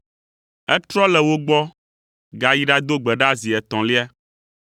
Etrɔ le wo gbɔ gayi ɖado gbe ɖa zi etɔ̃lia.